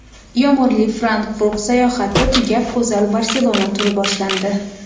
Yomg‘irli Frankfurt sayohati tugab, go‘zal Barselona turi boshlandi.